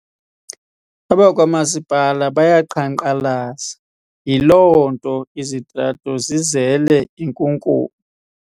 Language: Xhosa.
Abakwamasipala bayaqhankqalaza yiloonto izitrato zizele inkunkuma.